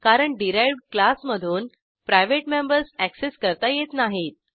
कारण डिराइव्ह्ड क्लासमधून private members access करता येत नाहीत